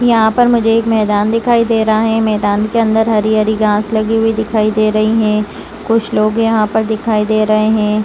यहां पर मुझे एक मैदान दिखाई दे रहा है मैदान के अंदर हरी-हरी घास लगी हुई दिखाई दे रही हैं कुछ लोग यहां पर दिखाई दे रहे हैं ।